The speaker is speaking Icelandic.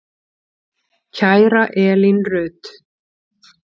Kæra Elín Rut.